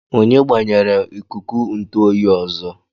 Onye gbanyere ikuku ntụ oyi ọzọ?